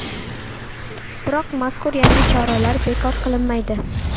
Biroq mazkur yangi choralar bekor qilinmaydi.